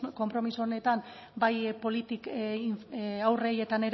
konpromiso honetan bai haurrei eta